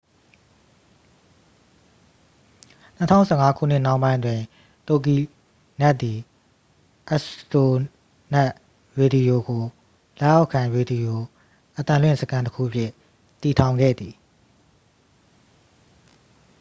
2015 ခုနှစ်နှောင်းပိုင်းတွင် တိုဂီနက် သည် အစတိုနက်ရေဒီယို ကို လက်အောက်ခံ ရေဒီရိုအသံလွင့်စခန်းတစ်ခု အဖြစ် တည်ထောင်ခဲ့သည်